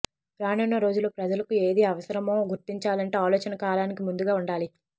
రానున్న రోజుల్లో ప్రజలకు ఏది అవసరమో గుర్తించాలంటే ఆలోచన కాలానికి ముందుగా ఉండాలి